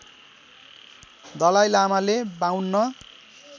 दलाइ लामाले ५२